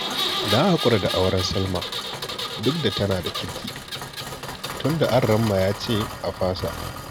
Na haƙura da auren Salma duk da tana da kirki tunda Aramma ya ce a fasa